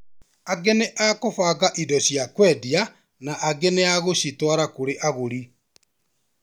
Angĩ nĩ a kũbanga indo cia kwendia na angi a gũcitwara kũri mũgũri